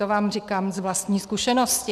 To vám říkám z vlastní zkušenosti.